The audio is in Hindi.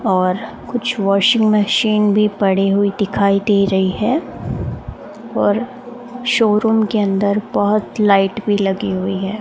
और कुछ वाशिंग मशीन भी पड़ी हुई दिखाई दे रही है और शोरूम के अंदर बहोत लाइट भी लगी हुई है।